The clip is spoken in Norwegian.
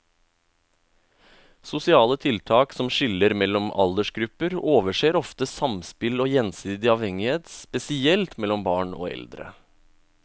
Sosiale tiltak som skiller mellom aldersgrupper overser ofte samspill og gjensidig avhengighet, spesielt mellom barn og eldre.